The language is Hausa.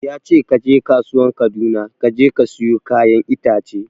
Yace kaje kasuwan Kaduna kaje ka siyo kayan itace